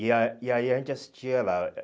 E ah e aí a gente assistia lá.